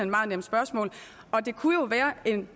meget nemt spørgsmål og det kunne jo være en